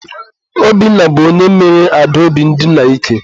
Obinna bụ onye mere Adaobi ndina ike.